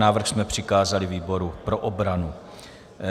Návrh jsme přikázali výboru pro obranu.